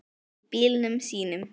Í bílunum sínum.